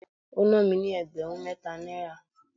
ó ná mi ní ẹgbẹ̀rún mẹ́ta náírà.